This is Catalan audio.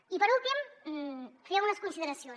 i per últim fer unes consideracions